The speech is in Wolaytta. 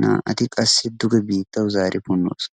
naa"ati qassi duge biittawu zaari punnoosona.